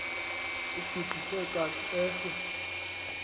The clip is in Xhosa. ugidise kant eso